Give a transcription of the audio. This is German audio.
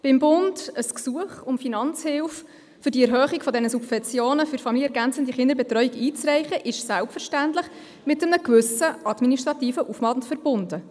Beim Bund ein Gesuch um Finanzhilfe für diese Erhöhung der Subventionen für familienergänzende Kinderbetreuung einzureichen, ist selbstverständlich mit einem gewissen administrativen Aufwand verbunden.